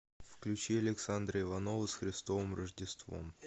включи александра иванова с христовым рождеством